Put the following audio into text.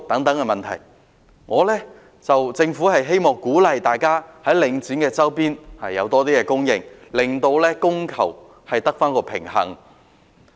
我希望政府會鼓勵大家在領展物業周邊的項目，增加車位供應，令供求得以平衡。